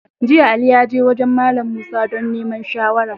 Jiya, Ali ya je wajen Mallam Musa don neman shawara.